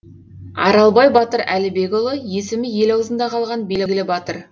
аралбай батыр әлібекұлы есімі ел аузыңда қалған белгілі батыр